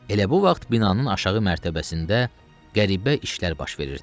Elə bu vaxt binanın aşağı mərtəbəsində qəribə işlər baş verirdi.